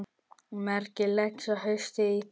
Hvernig leggst haustið í þig?